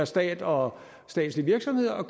stat og statslige virksomheder